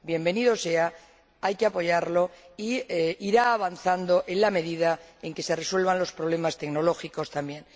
Bienvenido sea, hay que apoyarlo e irá avanzando en la medida en que se resuelvan los problemas tecnológicos también.